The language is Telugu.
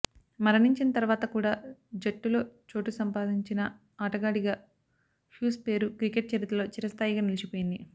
మరణించిన తర్వాత కూడా జట్టులో చోటు సంపాదించిన ఆటగాడిగా హ్యూస్ పేరు క్రికెట్ చరిత్రలో చిరస్థాయిగా నిలిచిపోతుంది